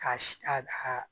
K'a si a a